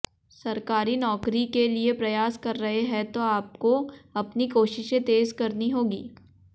सरकारी नौकरी के लिए प्रयास कर रहे हैं तो आपको अपनी कोशिशें तेज करनी होगी